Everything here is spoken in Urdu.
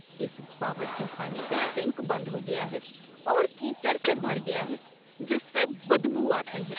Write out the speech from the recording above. اس باورچی خانے کا سنک بند ہو گیا ہے اور کیچڑ سے بھر گیا ہے جس سے بدبو آتی ہے۔